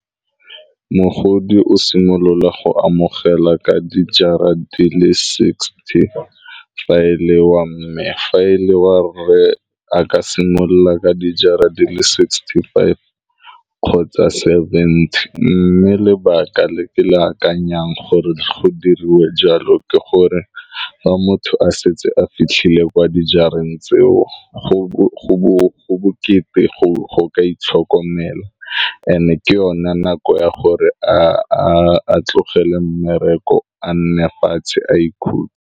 Mogodi o simolola go amogela ka di jara di le sixty fa e le wa mme fa e le wa re a ka simolola ka di jara di le sixty five kgotsa seventy, mme lebaka le ke le akanyang gore go diriwe jalo ke gore fa motho a setse a fitlhile kwa dijareng tseo go bokete go ka itlhokomela and-e ke yone nako ya gore a tlogele mmereko a nne fatshe a ikhutse.